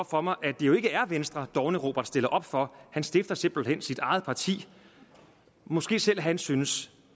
for mig at det jo ikke er venstre dovne robert stiller op for han stifter simpelt hen sit eget parti måske selv han synes